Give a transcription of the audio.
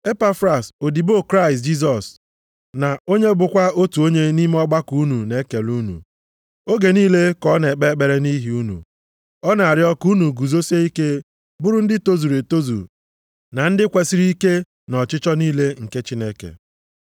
Epafras, odibo Kraịst Jisọs na onye bụkwa otu onye nʼime ọgbakọ unu na-ekele unu. Oge niile ka ọ na-ekpe ekpere nʼihi unu, na-arịọ ka unu guzosie ike bụrụ ndị tozuru etozu na ndị kwesiri ike nʼọchịchọ niile nke Chineke.